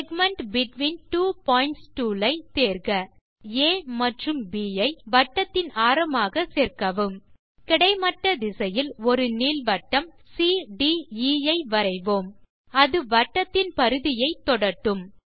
segment between two points tool ஐ தேர்க புள்ளிகள் ஆ மற்றும் ப் ஐ வட்டத்தின் ஆரமாக சேர்க்கவும் கிடைமட்ட திசையில் ஒரு நீள்வட்டம் சிடிஇ ஐ வரைவோம் அது வட்டத்தின்பரிதியை தொடட்டும்